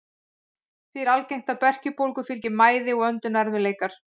Því er algengt að berkjubólgu fylgi mæði og öndunarerfiðleikar.